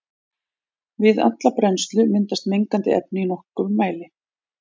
Við alla brennslu myndast mengandi efni í nokkrum mæli.